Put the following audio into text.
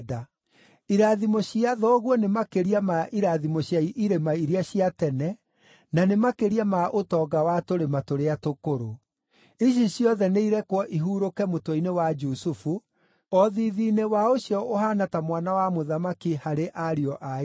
Irathimo cia thoguo nĩ makĩria ma irathimo cia irĩma iria cia tene, na nĩ makĩria ma ũtonga wa tũrĩma tũrĩa tũkũrũ. Ici ciothe nĩirekwo ihurũke mũtwe-inĩ wa Jusufu, o thiithi-inĩ wa ũcio ũhaana ta mwana wa mũthamaki harĩ ariũ a ithe.